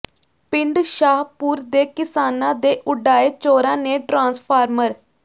ਪਿੰਡ ਸ਼ਾਹਪੁਰ ਦੇ ਕਿਸਾਨਾਂ ਦੇ ਉਡਾਏ ਚੋਰਾਂ ਨੇ ਟਰਾਂਸਫ਼ਾਰਮਰ